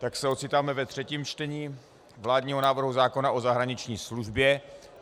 Tak se ocitáme ve třetím čtení vládního návrhu zákona o zahraniční službě.